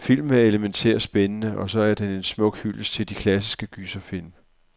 Filmen er elemæntært spændende, og så er den en smuk hyldest til de klassiske gyserfilm.